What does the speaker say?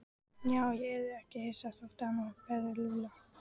Já, ég yrði ekki hissa þótt hann berði Lúlla.